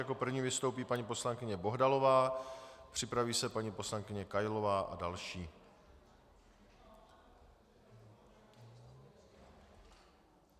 Jako první vystoupí paní poslankyně Bohdalová, připraví se paní poslankyně Kailová a další.